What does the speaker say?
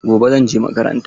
Gobe zan je makaranta.